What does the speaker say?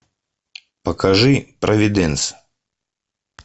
покажи провиденс